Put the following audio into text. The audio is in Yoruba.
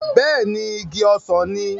Bẹ́ẹ̀ ni, igi ọsàn ni.